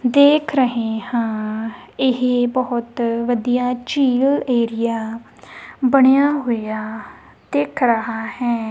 ਦੇਖ ਰਹੇ ਹਾਂ ਇਹ ਬੋਹੁਤ ਵਧੀਆ ਝੀਲ ਏਰੀਆ ਬਣਿਆ ਹੋਇਆ ਦਿੱਖ ਰਹਾ ਹੈ।